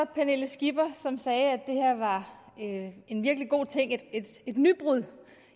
pernille skipper som sagde at det her var en virkelig god ting et nybrud